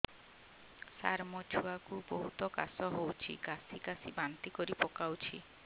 ସାର ମୋ ଛୁଆ କୁ ବହୁତ କାଶ ହଉଛି କାସି କାସି ବାନ୍ତି କରି ପକାଉଛି